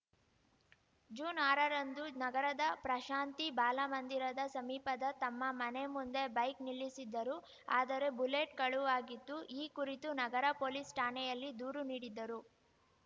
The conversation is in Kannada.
ಜೂನ್ಆರರಂದು ನಗರದ ಪ್ರಶಾಂತಿ ಬಾಲಮಂದಿರದ ಸಮೀಪದ ತಮ್ಮ ಮನೆ ಮುಂದೆ ಬೈಕ್‌ ನಿಲ್ಲಿಸಿದ್ದರು ಆದರೆ ಬುಲೆಟ್‌ ಕಳುವಾಗಿತ್ತು ಈ ಕುರಿತು ನಗರ ಪೊಲೀಸ್‌ ಠಾಣೆಯಲ್ಲಿ ದೂರು ನೀಡಿದ್ದರು